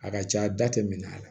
A ka ca da tɛ minɛ a la